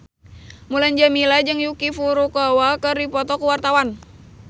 Mulan Jameela jeung Yuki Furukawa keur dipoto ku wartawan